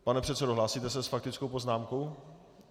Pane předsedo, hlásíte se s faktickou poznámkou?